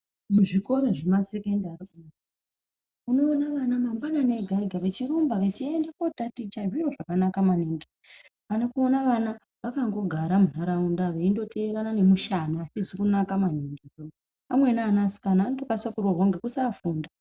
Kuzvikora zvemasekendari su unoone vana mangwanani ega ega vechirumba vechiende kotaticha oane kuone vana vakandogara muntaraunta veindoteerane nemushana azvizi kunaka maningi amweni ana asikana anotokase kuroorwa kusafunda.